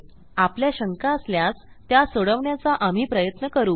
आपल्या शंका असल्यास त्या सोडवण्याचा आम्ही प्रयत्न करू